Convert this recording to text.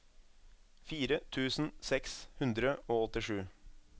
fire tusen seks hundre og åttisju